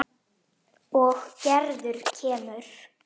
Og Gerður kemur.